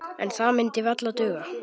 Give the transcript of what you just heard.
En það myndi varla duga.